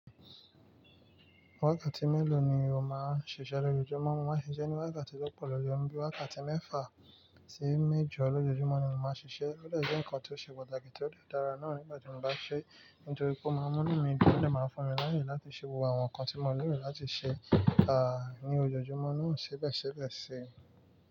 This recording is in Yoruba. Wákàtí mélòó ni o máa ń ṣiṣẹ́ lójoojúmọ́? Mo máa ń ṣiṣẹ́ ní wákàtí tó pọ̀ jojo, bíi wákàtí mẹ́fà sí méjo l'ojoojúmọ́ ni mo máa ń ṣiṣẹ́. Ó dè jẹ́ ǹkan ti ó ṣe pàtàkì tí ó dè dára náà nígbà tí mo bá ṣe é, nítorí pé ó máa mú inu mí dùn, ó dè máa fún mi l'aáyè láti ṣe gbogbo àwọn nǹkan tí mo nílò láti ṣe, ní ojoojúmọ́ náà sibe sibe sii.